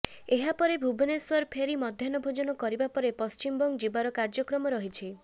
ଏହା ପରେ ଭୁବନେଶ୍ୱର ଫେରି ମଧ୍ୟାହ୍ନ ଭୋଜନ କରିବା ପରେ ପଶ୍ଚିମବଙ୍ଗ ଯିବାର କାର୍ଯ୍ୟକ୍ରମ ରହିଛି